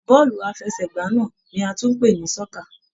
Bọ́ọ̀lù aláfẹsẹ̀gbá náà ní a tún ń pè ní sọ́kà.